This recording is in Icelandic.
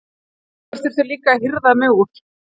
Einhver þurfti líka að hirða mig úr